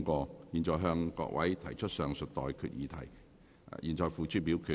我現在向各位提出上述待決議題，付諸表決。